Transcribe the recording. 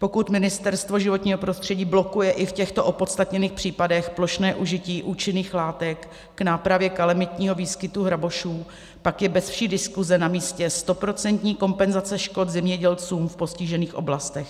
Pokud Ministerstvo životního prostředí blokuje i v těchto opodstatněných případech plošné užití účinných látek k nápravě kalamitního výskytu hrabošů, pak je beze vší diskuse na místě stoprocentní kompenzace škod zemědělcům v postižených oblastech.